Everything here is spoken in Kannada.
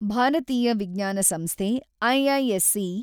ಭಾರತೀಯ ವಿಜ್ಞಾನ ಸಂಸ್ಥೆ-ಐ.ಐ.ಎಸ್.ಸಿ.